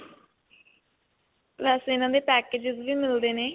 ਵੈਸੇ ਇਨ੍ਹਾਂ ਦੇ packages ਵੀ ਮਿਲਦੇ ਨੇ.